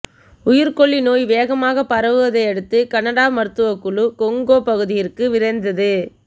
உயிர்கொல்லி நோய் வேகமாக பரவுவதை அடுத்து கனடா மருத்துவக்குழு கோங்கொ பகுதியிற்கு விரைந்தது